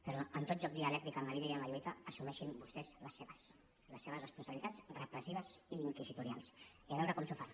però en tot joc dialèctic en la vida i en la lluita assumeixin vostès les seves les seves responsabilitats repressives i inquisitorials i a veure com s’ho fan